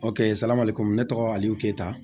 O kɛ sala komi ne tɔgɔ ayiwe keyita